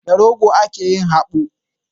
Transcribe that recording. Da rogo ake yin habu.